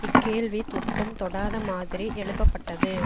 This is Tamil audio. இக்கேள்வி தொட்டும் தொடாத மாதிரி எழுப்பப்பட்டது